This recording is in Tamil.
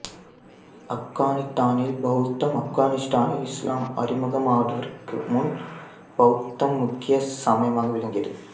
ஆப்கானித்தானில் பௌத்தம் ஆப்கானிஸ்தானில் இசுலாம் அறிமுகமாதவற்கு முன் பௌத்தம் முக்கிய சமயமாக விளங்கியது